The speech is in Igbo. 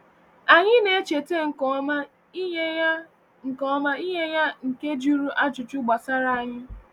Anyị na-echeta nke ọma ịnyịnya nke ọma ịnyịnya nke jụrụ ajụjụ gbasara anyị.